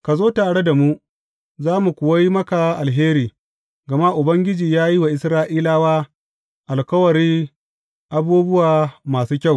Ka zo tare da mu, za mu kuwa yi maka alheri, gama Ubangiji ya yi wa Isra’ilawa alkawari abubuwa masu kyau.